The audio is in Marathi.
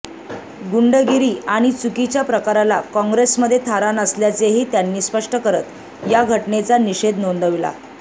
गुंडगिरी आणि चुकीच्या प्रकाराला काँग्रेसमध्ये थारा नसल्याचेही त्यांनी स्पष्ट करत या घटनेचा निषेध नोंदवला